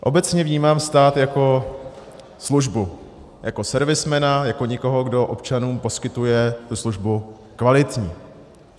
Obecně vnímám stát jako službu, jako servismana, jako někoho, kdo občanům poskytuje tu službu kvalitní.